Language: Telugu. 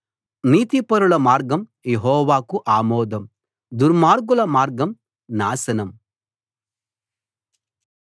నీతిపరుల మార్గం యెహోవాకు ఆమోదం దుర్మార్గుల మార్గం నాశనం